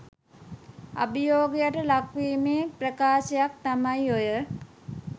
අභියෝගයට ලක් වීමේ ප්‍රකාශනයක් තමයි ඔය